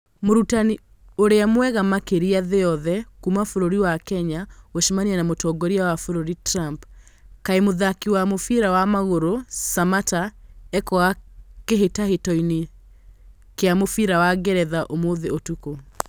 Mũrutani ũrĩa mwega makĩria thĩ yothe Kuma bũrũri wa Kenya gũcemania na mũtongoria wa bũrũri Trump. Kaĩ mũthaki wa mũbĩra wa magũrũ Samatta ekwaga kĩhĩtahĩtano kĩa mũbira wa Ngeretha ũmũthĩ ũtukũ